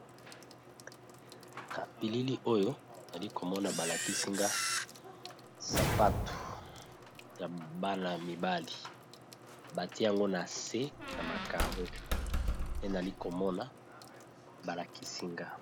na pilili oyo ali komona balakisinga sapato ya bana y mibali bati yango na se na makaro te nali komona balakisinga